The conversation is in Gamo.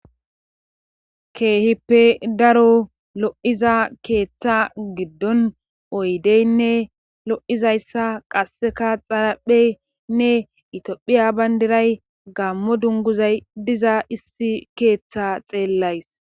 keehippe daro lo7iza keeththa giddon oydeynne lo7izayssa qasseka xarapheynne itophiya bayndiray gammo dunguzay diza issi keeththa xeellays